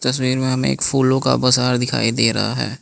तस्वीर में हमें एक फूलों का बाजार दिखाई दे रहा है।